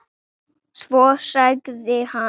Svo sagði hann